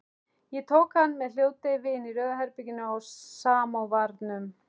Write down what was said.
Ég tók hann með hljóðdeyfi í Rauða herberginu á Samóvarnum.